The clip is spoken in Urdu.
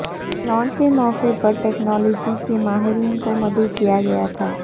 لانچ کے موقعے پر ٹیکنالوجی کے ماہرین کو مدعو کیا گیا تھا